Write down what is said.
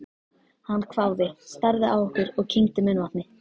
Hann hváði, starði á okkur og kyngdi munnvatni.